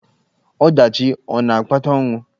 Ọdachi ọ̀ na-akpata ọnwụ?